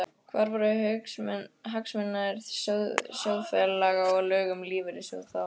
Hvar voru hagsmunir sjóðfélaga og lög um lífeyrissjóði þá?